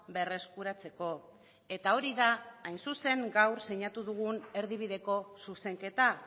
berreskuratzeko eta hori da hain zuzen gaur sinatu dugun erdibideko zuzenketa